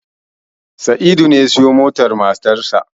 Sa'idu ne ya siyowa motar matarsa.